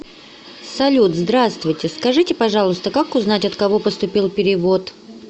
салют здравствуйте скажите пожалуйста как узнать от кого поступил перевод